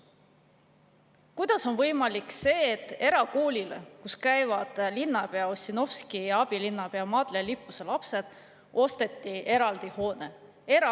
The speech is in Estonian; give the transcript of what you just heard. Kuidas on võimalik see, et erakoolile, kus käivad linnapea Ossinovski ja abilinnapea Madle Lippuse lapsed, osteti eraldi hoone?